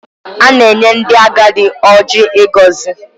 A na-enye ndị agadi Ọjị ịgọzi.